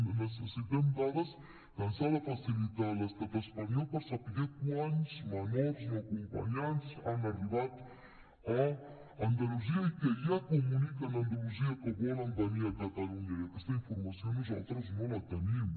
necessitem dades que ens ha de facilitar l’estat espanyol per saber quants menors no acompanyats han arribat a andalusia i que ja comuniquen a andalusia que volen venir a catalunya i aquesta informació nosaltres no la tenim